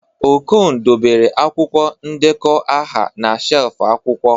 Okon dobere akwụkwọ ndekọ aha na shelf akwụkwọ